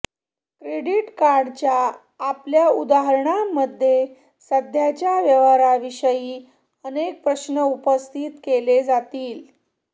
credit कार्डच्या आपल्या उदाहरणामध्ये सध्याच्या व्यवहाराविषयी अनेक प्रश्न उपस्थित केले जातील